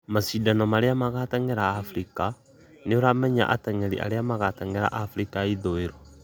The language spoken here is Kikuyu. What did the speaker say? mashĩndano ma gũteng'era Afrika: nĩũramenya ateng'erĩ arĩa magateng'erera Afrika ya ĩthũĩro